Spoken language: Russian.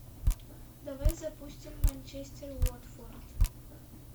давай запустим манчестер уотфорд